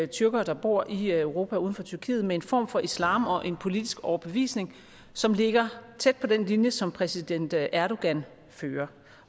tyrkere der bor i europa uden for tyrkiet med en form for islam og politisk overbevisning som ligger tæt på den linje som præsident erdogan fører